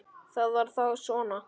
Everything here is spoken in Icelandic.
Það var þá svona.